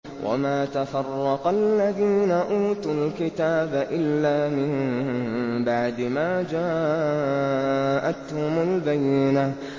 وَمَا تَفَرَّقَ الَّذِينَ أُوتُوا الْكِتَابَ إِلَّا مِن بَعْدِ مَا جَاءَتْهُمُ الْبَيِّنَةُ